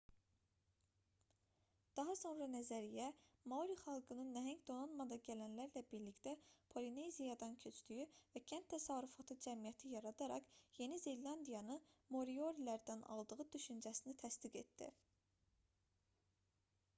daha sonra nəzəriyyə maori xalqının nəhəng donanmada gələnlərlə birlikdə polineziyadan köçdüyü və kənd təsərrüfatı cəmiyyəti yaradaraq yeni zelandiyanı moriorilərdən aldığı düşüncəsini təsdiq etdi